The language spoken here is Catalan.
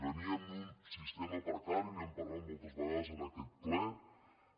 veníem d’un sistema precari n’hem parlat moltes vegades en aquest ple